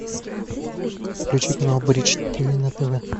включи канал бридж тв на тв